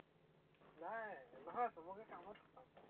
নাই, নহয় সৱকে কামত খটাম।